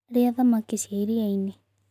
Rĩa thamakĩ cia ĩrĩaĩnĩ